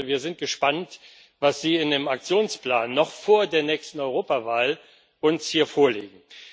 Wir sind gespannt, was Sie uns in dem Aktionsplan noch vor der nächsten Europawahl hier vorlegen.